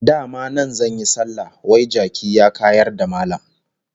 Dama nan zan yi sallah, wai jaki ya kayar da Mallam!